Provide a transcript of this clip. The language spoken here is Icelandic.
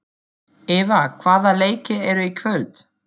Eva, hvaða leikir eru í kvöld?